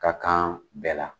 Ka kan bɛɛ la